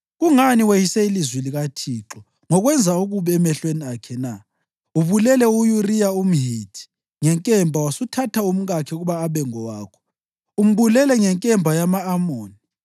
Kungani weyise ilizwi likaThixo ngokwenza okubi emehlweni akhe na? Ubulele u-Uriya umHithi ngenkemba wasuthatha umkakhe ukuba abe ngowakho. Umbulele ngenkemba yama-Amoni.